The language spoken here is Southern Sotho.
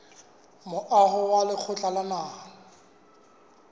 moaho wa lekgotla la naha